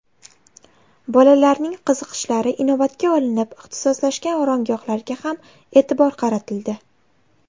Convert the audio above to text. Bolalarning qiziqishlari inobatga olinib, ixtisoslashgan oromgohlarga ham e’tibor qaratildi.